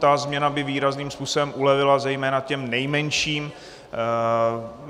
Tato změna by výrazným způsobem ulevila zejména těm nejmenším.